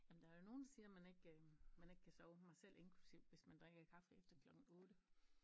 Ja men der er jo nogle der siger man ikke øh man ikke kan sove mig selv inklusiv hvis man drikker kaffe efter klokken 8